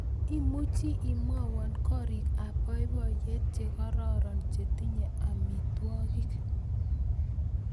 Imuchi imwawan gorik ab boiboiyet chekararan chetinye amitwogik